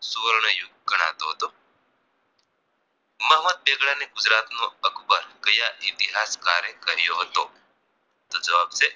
સુવર્ણ યુગ ગણાતો હતો મોહમ્મદ બેગડાને ગુજરાત નો અકબર કયા ઇતિહાસ કારે કહ્યો હતો તો જવાબ છે